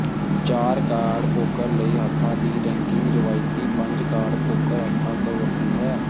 ਚਾਰ card poker ਲਈ ਹੱਥਾਂ ਦੀ ਰੈਂਕਿੰਗ ਰਵਾਇਤੀ ਪੰਜ ਕਾਰਡ ਪੋਕਰ ਹੱਥਾਂ ਤੋਂ ਵੱਖਰੀ ਹੈ